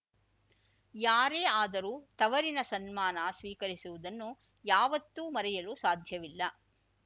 ಯಾರೇ ಆದರೂ ತವರಿನ ಸನ್ಮಾನ ಸ್ವೀಕರಿಸುವುದನ್ನು ಯಾವತ್ತೂ ಮರೆಯಲು ಸಾಧ್ಯವಿಲ್ಲ